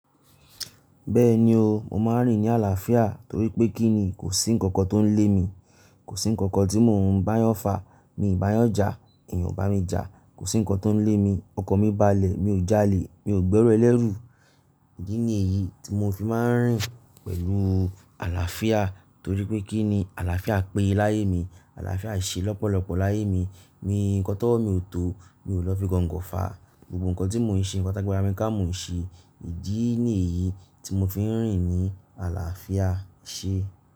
Bẹ́ẹ̀ni o, mo máa ń rìn ní àlàáfíà torí pé kí ni kò sí ǹkankan tó ń lé mi, kò sí ǹkankan tí mò ń báyanfà, mi ò báyanjá, èèyàn ò bá mi jà, kò sí ǹkan tó ń lé mi, ọkan mi balẹ̀, mi ò jalè, mi ò gbẹ́ru ẹlẹ́rù. Idi ni èyí tí mò fi máa ń rìn pẹ̀lú àlàáfíà. Torí pé kí ni àlàáfíà péye láyé mi, àlàáfíà ṣe lọ́pọ̀lọ́pọ̀ láyé mi, mi nkan t'ọwọ, mi ò tó, mi ò lọ fi gọngọ fà, gbogbo ǹkan tí mò ń ṣe, nkan tagbara mi ká mo ń ṣe. Ìdí ni yí tí mò fi ń rìn ní àlàáfíà ẹṣe.